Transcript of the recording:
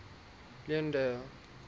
leondale